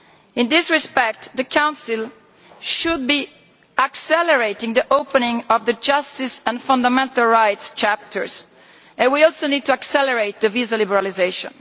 In this respect, the Council should be accelerating the opening of the justice and fundamental rights chapters, and we also need to accelerate visa liberalisation.